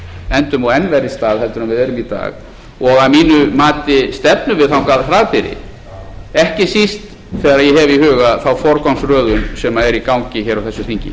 endum á enn verri stað en við erum í dag og að mínu mati stefnum við þangað hraðbyri ekki síst þegar ég hef í huga þá forgangsröðun sem er í gangi hér á þessu þingi